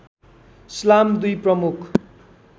इस्लाम दुई प्रमुख